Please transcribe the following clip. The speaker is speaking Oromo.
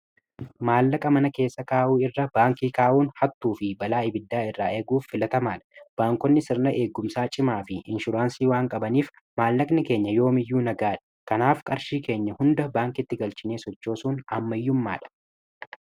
maallaqa mana keessa kaa'uu irra baankii kaa'uun hattuu fi balaa ibiddaa irraa eeguuf filatamaa dha baankotni sirra eeggumsaa cimaa fi inshuraansii waanqabaniif maallaqni keenya yoo miyyuu nagaya dha kanaaf qarshii keenya hunda baankitti galchinee sochoosuun aammaiyyummaa dha